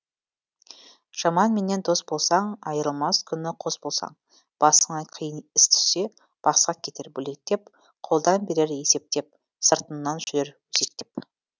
жаманменен дос болсаң айрылмас күні қос болсаң басыңа қиын іс түссе басқа кетер бөлектеп қолдан берер есептеп сыртыңнан жүрер өсектеп